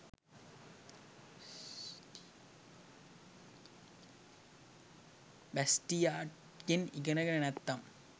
බැස්ටියාට්ගෙන් ඉගෙන ගෙන නැත්නම්